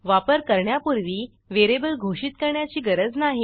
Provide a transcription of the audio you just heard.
वापर करण्यापूर्वी व्हेरिएबल घोषित करण्याची गरज नाही